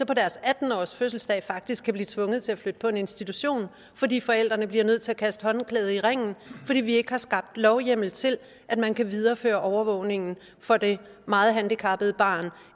på deres atten års fødselsdag faktisk blive tvunget til at flytte på en institution fordi forældrene bliver nødt til at kaste håndklædet i ringen fordi vi ikke har skabt lovhjemmel til at man kan videreføre overvågningen for det meget handicappede barn